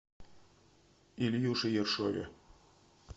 ильюше ершове